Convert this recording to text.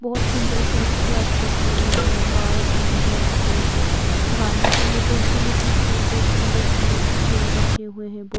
बहोत सुंदर सा एक क्लब दिख रहे है बार कम रेस्टोरेंट खाने के लिए फैसिलिटीज है बहोत सुंदर सुंदर सा चेयर रखे हुए हैं।